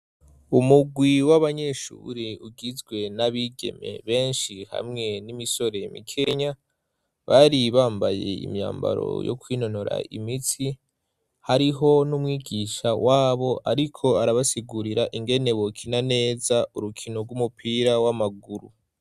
Umugwi w'abanyeshure ugizwe n'abigeme benshi hamwe n'imisore mikenya, bari bambaye imyambaro yo kwinonora imitsi. Hariho n'umwigisha wabo ariko arabasigurira ingene bokina neza urukino rw'umupira w'amaguru.